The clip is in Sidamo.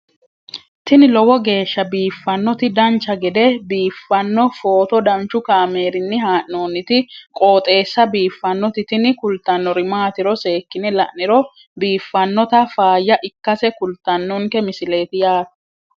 tini lowo geeshsha biiffannoti dancha gede biiffanno footo danchu kaameerinni haa'noonniti qooxeessa biiffannoti tini kultannori maatiro seekkine la'niro biiffannota faayya ikkase kultannoke misileeti yaate